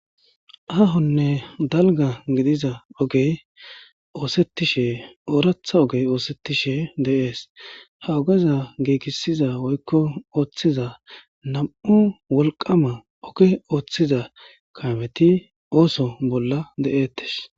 Ahonne dalga gidiza ogey oosettishe ooratha ogey oosettishe de7ees ha ogeza giigisiza woykko ooththiza nam'u wolqama oge ooththiza kaameti ooso bolla de'ettes